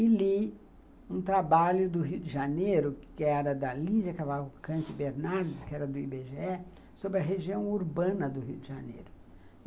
e li um trabalho do Rio de Janeiro, que era da Lígia Cavalcante Bernardes, que era do i bê gê é, sobre a região urbana do Rio de Janeiro.